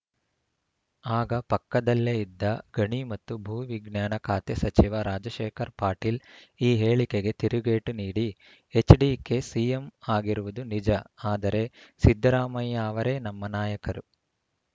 ಆಗ ಪಕ್ಕದಲ್ಲೇ ಇದ್ದ ಗಣಿ ಮತ್ತು ಭೂವಿಜ್ಞಾನ ಖಾತೆ ಸಚಿವ ರಾಜಶೇಖರ ಪಾಟಿಲ್ ಈ ಹೇಳಿಕೆಗೆ ತಿರುಗೇಟು ನೀಡಿ ಎಚ್‌ಡಿಕೆ ಸಿಎಂ ಆಗಿರುವುದು ನಿಜ ಆದರೆ ಸಿದ್ದರಾಮಯ್ಯ ಅವರೇ ನಮ್ಮ ನಾಯಕರು